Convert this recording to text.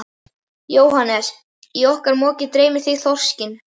Jóhannes: Í svona moki dreymir þig þorskinn?